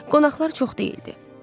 Qonaqlar çox deyildi.